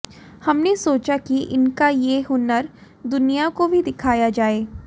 हमने सोचा कि इनका ये हुनर दुनिया को भी दिखाया जाए